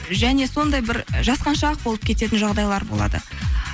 және сондай бір жасқаншақ болып кететін жағдайлар болады